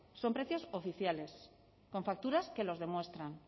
son precios oficiales con facturas que los demuestran